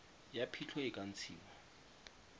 ya phitlho e ka ntshiwa